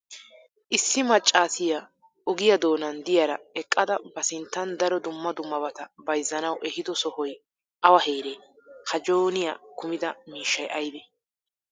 issi macaassiya ogiyaa doonan diyaara eqqada ba sinttan daro dumma dummabata bayzzanawu ehiido sohoy awa heeree? ha jooniyaa kummida miishshay aybee?